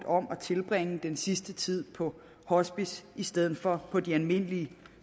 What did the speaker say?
om at tilbringe den sidste tid på et hospice i stedet for på et almindeligt